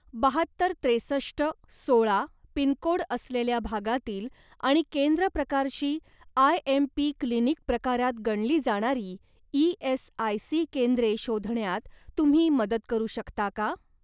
बाहत्तर त्रेसष्ट सोळा पिनकोड असलेल्या भागातील आणि केंद्र प्रकारची आयएमपी क्लिनिक प्रकारात गणली जाणारी ई.एस.आय.सी. केंद्रे शोधण्यात तुम्ही मदत करू शकता का?